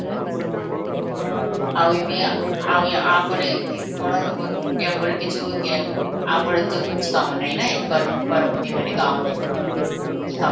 ଆଉ ଏବେ ଆଉ ୟା ପରେ କ'ଣ ହେବ ପରେ କିଛି ଆଁ ୟା ପରେ ତ କିଛି କାମ ନାହିଁ ନା ଏବେ ଗରମ ଗରମ ଦିନରେ ରେ କି କାମ